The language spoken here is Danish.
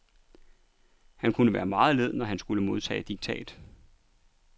Han kunne være meget led, når man skulle modtage diktat.